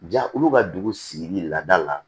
Ja olu ka dugu sigili lada la